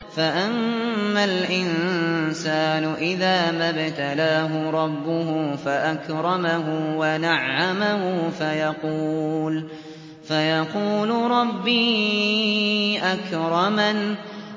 فَأَمَّا الْإِنسَانُ إِذَا مَا ابْتَلَاهُ رَبُّهُ فَأَكْرَمَهُ وَنَعَّمَهُ فَيَقُولُ رَبِّي أَكْرَمَنِ